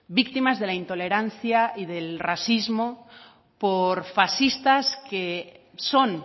víctimas de la intolerancia y del racismo por fascistas que son